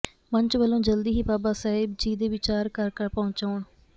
ਮੰਚ ਵਲੋ ਜਲਦੀ ਹੀ ਬਾਬਾ ਸਾਹਿਬ ਜੀ ਦੇ ਵਿਚਾਰ ਘਰ ਘਰ ਪਹੁਚਾਉਣ